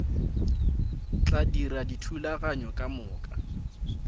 tla dira dithulaganyo ka moka